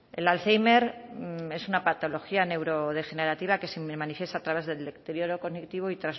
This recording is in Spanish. el alzhéimer es una patología neurodegenerativa que se manifiesta a través del deterioro cognitivo y